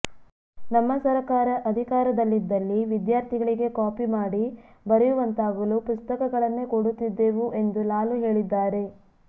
ನಮ್ಮ ಸರಕಾರ ಅಧಿಕಾರದಲ್ಲಿದ್ದಲ್ಲಿ ವಿದ್ಯಾರ್ಥಿಗಳಿಗೆ ಕಾಪಿ ಮಾಡಿ ಬರೆಯುವಂತಾಗಲು ಪುಸ್ತಕಗಳನ್ನೇ ಕೊಡುತ್ತಿದ್ದೇವು ಎಂದು ಲಾಲು ಹೇಳಿದ್ದಾರೆ